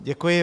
Děkuji.